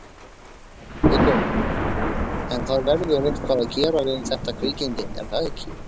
Viggó: En það verður eitthvað að gera við þetta kvikindi er það ekki?